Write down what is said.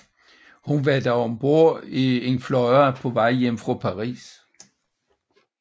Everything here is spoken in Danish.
Hun var da om bord i et fly på vej hjem fra Paris